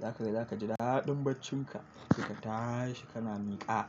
zaka ga za ka ji daɗin bacci ka, ka tashi kana niƙa.